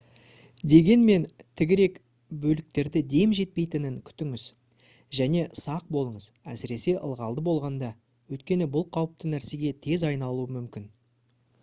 дегенмен тігірек бөліктерде дем жетпейтінін күтіңіз және сақ болыңыз әсіресе ылғалды болғанда өйткені бұл қауіпті нәрсеге тез айналуы мүмкін